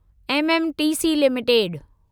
MMTC limited